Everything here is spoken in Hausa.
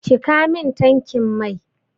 Cika min tankin mai!